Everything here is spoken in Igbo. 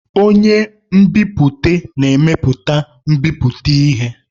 Onye nbipute na-emepụta mbipụta ihe.